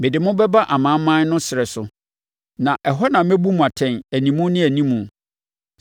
Mede mo bɛba amanaman no ɛserɛ so, na ɛhɔ na mɛbu mo atɛn animu ne animu.